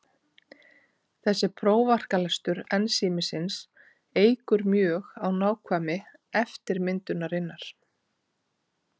Þessi prófarkalestur ensímsins eykur mjög á nákvæmni eftirmyndunarinnar.